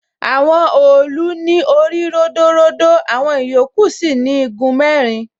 Àwọn òòlù ní orí ródóródó, àwọn ìyókù sì ni igun mẹ́rin.